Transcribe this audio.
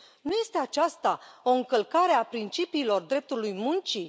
Nu este aceasta o încălcare a principiilor dreptului muncii?